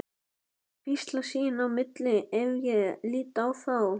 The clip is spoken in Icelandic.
Þeir hvísla sín á milli ef ég lít á þá.